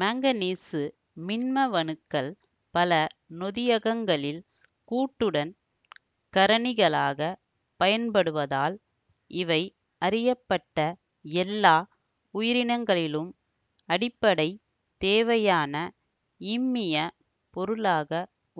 manganese மின்மவணுக்கள் பல நொதியகங்களில் கூட்டுடன் கரணிகளாகப் பயன்படுவதால் இவை அறியப்பட்ட எல்லா உயிரினங்களிலும் அடிப்படைத்தேவையான இம்மியப் பொருளாக